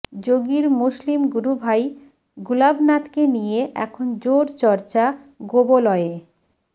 যোগীর মুসলিম গুরুভাই গুলাবনাথকে নিয়ে এখন জোর চর্চা গোবলয়ে